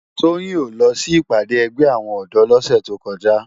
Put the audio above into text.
Toyin ó lò si ipàdé ègbè áwòn òdò lòsè tókòjá